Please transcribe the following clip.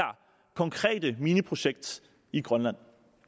konkrete mineprojekt i grønland